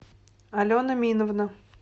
алена миновна